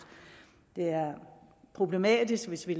det er problematisk hvis vi